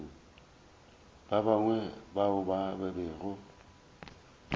ba bangwe bao ba bego